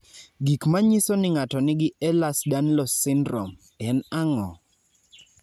Gik manyiso ni ng'ato nigi Ehlers Danlos syndrome, en ang'o?